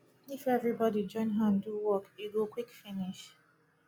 if everybody join hand do work e go quick finish